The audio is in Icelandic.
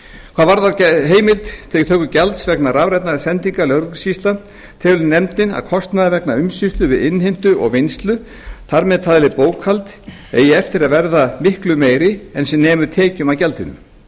hvað varðar heimild til töku gjalds vegna rafrænna sendinga lögregluskýrslna telur nefndin að kostnaður vegna umsýslu við innheimtu og vinnslu þar með talin bókhald eigi eftir að verða miklu meiri en sem nemur tekjum af gjaldinu